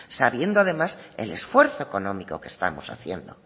sabiendo además el esfuerzo económico que estamos haciendo